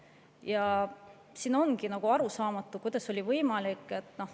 Ja siin ongi arusaamatu, kuidas see on võimalik.